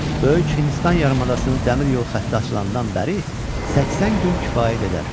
Böyük Hindistan yarımadasının dəmir yol xətti açılandan bəri 80 gün kifayət edər.